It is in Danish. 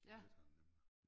Det hed han nemlig